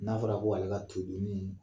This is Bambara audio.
N'a fɔra ko ale ka keku nin